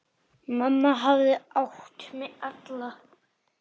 Mamma hafði átt mig alla.